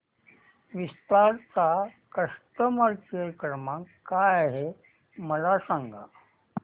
विस्तार चा customer care क्रमांक काय आहे मला सांगा